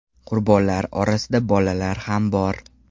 Qurbonlar orasida bolalar ham bor.